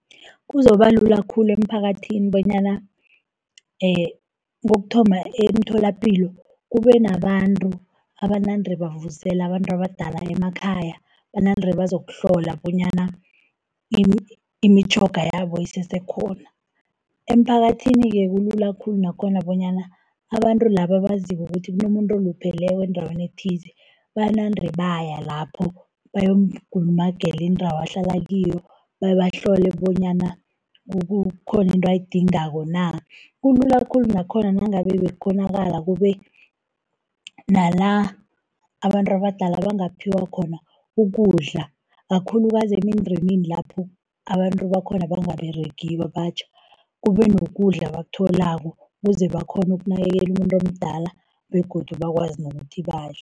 Kuzobalula khulu emphakathini bonyana kokuthoma, emtholapilo kube nabantu abanande bavusela abantu abadala emakhaya. Banande bazokuhlola bonyana imitjhoga yabo isesekhona. Emphakathini-ke kulula khulu nakhona, bonyana abantu laba abaziko ukuthi kunomuntu olupheleko endaweni ethize, banande baya lapho bayomkulumagela indawo ahlala kiyo, bebahlole bonyana khona into ayidingako na. Kulula khulu nakhona nangabe bekukghonakala kube nala abantu abadala bangaphiwa khona ukudla, kakhulukazi emindenini lapho abantu bakhona bangaberegiko abatjha, kube nokudla abakutholako ukuze bakghone ukunakekela umuntu umdala begodu bakwazi nokuthi badle.